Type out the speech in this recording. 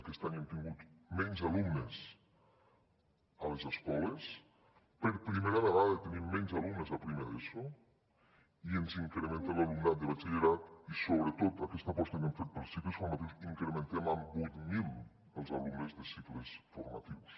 aquest any hem tingut menys alumnes a les escoles per primera vegada tenim menys alumnes a primer d’eso i ens incrementa l’alumnat de batxillerat i sobretot en aquesta aposta que hem fet pels cicles formatius incrementem en vuit mil els alumnes de cicles formatius